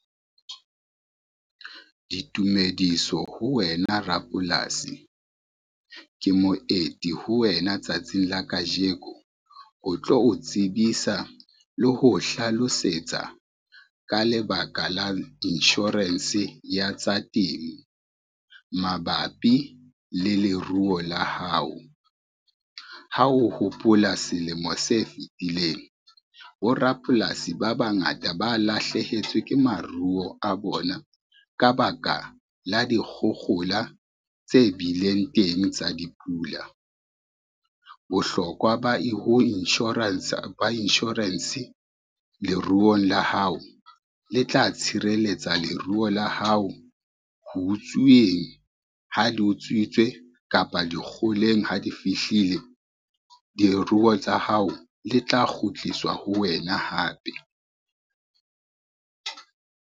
Ditumediso ho wena rapolasi. Ke moeti ho wena tsatsing la kajeko ho tlo o tsebisa le ho hlalosetsa ka lebaka la insurance ya tsa temo mabapi le leruo la hao. Ha o hopola selemo se fitileng borapolasi ba bangata ba lahlehetswe ke maruo a bona ka baka la dikgohola tse bileng teng tsa dipula. Bohlokwa ba insurance, leruo la hao le tla tshireletsa leruo la hao ho utsuweng ha di utswitswe kapa di kgoleng ha di fihlile diruo tsa hao, le tla kgutliswa ho wena hape.